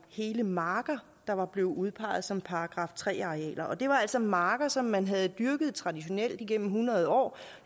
hele marker der var blevet udpeget som § tre arealer og det var altså marker som man havde dyrket traditionelt igennem hundrede år